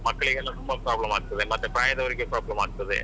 ಮಕ್ಕಳಿಗೆಲ್ಲಾ ತುಂಬಾ problem ಆಗ್ತದೆ ಮತ್ತೆ ಪ್ರಾಯದವರಿಗೆ problem ಆಗ್ತದೆ.